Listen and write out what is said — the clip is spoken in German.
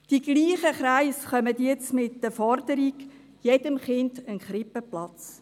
Dieselben Kreise kommen jetzt mit der Forderung: jedem Kind ein Krippenplatz.